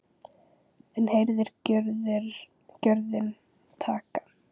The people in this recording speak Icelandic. Enn herðir gjörðin takið.